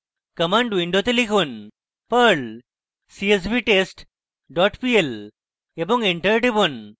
command window লিখুন: perl csvtest pl এবং enter টিপুন